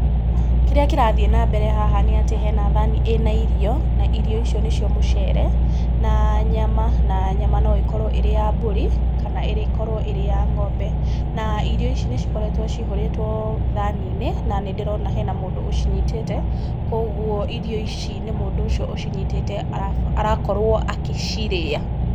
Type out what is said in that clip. Kĩrĩa kĩrathiĩ na mbere haha nĩ atĩ hena thaani ĩna irio, na irio icio ni cio mũcere, na nyama, na nyama no ĩkorwo ĩrĩ ya mbũri, kana ĩrĩkorwo ĩrĩ ya ng'ombe. Na irio ici nĩ cikoretwo ciihũrĩtwo thaani-inĩ, na nĩ ndĩrona hena mũndũ ũcinyitĩte, kũguo irio ici nĩ mũndũ ũcio ũcinyitĩte arakorwo akĩcirĩa.